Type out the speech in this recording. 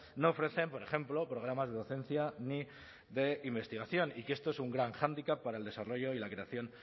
no ofrecen por ejemplo programas de docencia ni de investigación y que esto es un gran hándicap para el desarrollo y la creación